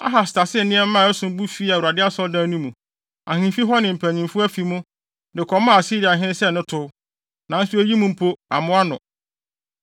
Ahas tasee nneɛma a ɛsom bo fii Awurade asɔredan no mu, ahemfi hɔ ne ne mpanyimfo afi mu, de kɔmaa Asiriahene sɛ ne tow. Nanso eyi mpo, ammoa no.